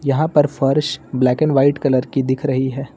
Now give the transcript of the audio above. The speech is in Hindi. यहां पर फर्श ब्लैक एंड व्हाइट कलर की दिख रही है।